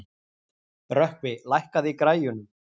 Rökkvi, lækkaðu í græjunum.